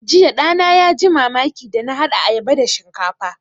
Jiya ɗana ya ji mamaki da na haɗa ayaba da shinkafa